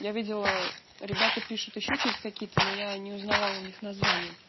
я видела ребята пишут ещё через какие-то но я не узнавала у них названия